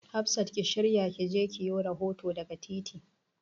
Hafsa ki shirya ki je ki yo rahoto daga titin.